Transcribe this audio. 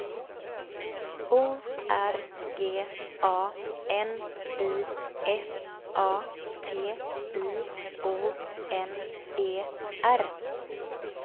O R G A N I S A T I O N E R